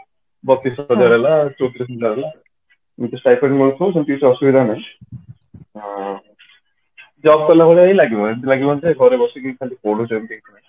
ବତିଶ ହଜାର ହେଲା ଚଉତିରିଶ ହଜାର ହେଲା ଏମିତି stipend ମିଳୁଥିବ ସେମିତି କିଛି ଅସୁବିଧା ନାହିଁ job କଲା ଭଳିଆ ହିଁ ଲାଗିବ ଏମିତି ଲାଗିବନି ଯେ ଘରେ ବସିକି ଖାଲି ପଢୁଛନ୍ତି